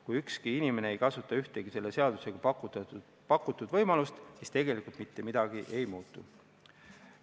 Kui ükski inimene ei kasuta ühtegi selle seadusega pakutud võimalust, siis tegelikult mitte midagi ei muutu.